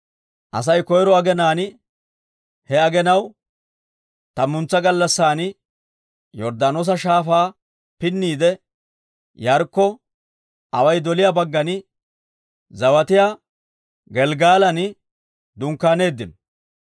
Asay koyro aginaan he aginaw tammantsa gallassan Yorddaanoosa Shaafaa pinniide, Yaarikkona away doliyaa baggan zawatiyaa Gelggalan dunkkaaneeddino.